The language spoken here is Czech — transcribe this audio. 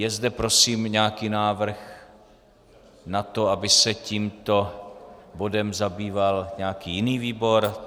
Je zde prosím nějaký návrh na to, aby se tímto bodem zabýval nějaký jiný výbor?